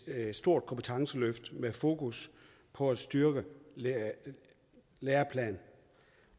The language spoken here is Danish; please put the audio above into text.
et stort kompetenceløft med fokus på at styrke læreplanerne